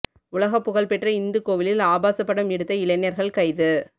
உலகப்புகழ் பெற்ற இந்து கோவிலில் ஆபாச படம் எடுத்த இளைஞர்கள் கைது